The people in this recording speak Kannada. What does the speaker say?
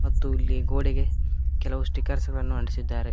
ಮತ್ತು ಇಲ್ಲಿ ಗೋಡೆಗೆ ಕೆಲವು ಸ್ಟಿಕರ್ಸ್ ಗಳನ್ನು ಅಂಟಿಸಿದ್ದಾರೆ.